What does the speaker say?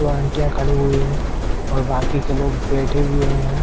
दो आंटियां खड़ी हुई हैं और बाकी के लोग बैठे हुए हैं।